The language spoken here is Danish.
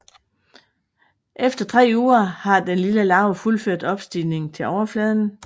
Efter tre uger har den lille larve fuldført opstigningen til overfladen